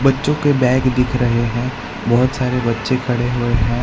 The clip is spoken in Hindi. बच्चों के बैग दिख रहे हैं बहोत सारे बच्चे खड़े हुए हैं।